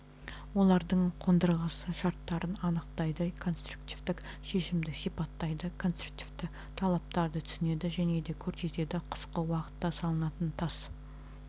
олардың қондырғысы шарттарын анықтайды конструктивтік шешімді сипаттайды конструктивтік талаптарды түсінеді және көрсетеді қысқы уақытта салынатын тас